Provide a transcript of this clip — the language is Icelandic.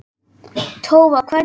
Tófa, hvernig kemst ég þangað?